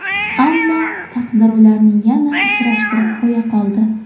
Ammo taqdir ularni yana uchrashtirib qo‘ya qoldi.